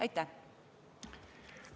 Aitäh!